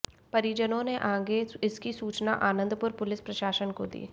परिजनों ने आगे इसकी सूचना आनंदपुर पुलिस प्रशासन को दी